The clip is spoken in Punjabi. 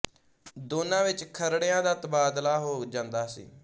ਦੋਨਾਂ ਵਿੱਚ ਖਰੜਿਆਂ ਦਾ ਤਬਾਦਲਾ ਹੋ ਜਾਂਦਾ ਸੀ